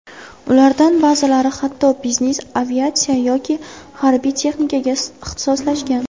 Ulardan ba’zilari hatto biznes-aviatsiya yoki harbiy texnikaga ixtisoslashgan.